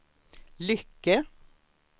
Lycke